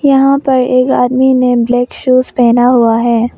यहां पर एक आदमी ने ब्लैक शूज़ पहना हुआ है।